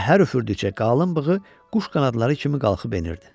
və hər üfürdükcə qalın bığı quş qanadları kimi qalxıb enirdi.